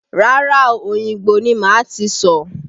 Rárá o, Òyìngbò ni màá ti sọ̀.